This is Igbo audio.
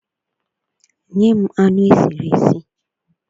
Nyem anu esiri esi!